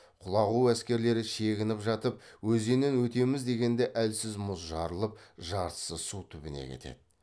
құлағу әскерлері шегініп жатып өзеннен өтеміз дегенде әлсіз мұз жарылып жартысы су түбіне кетеді